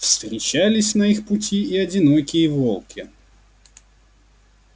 встречались на их пути и одинокие волки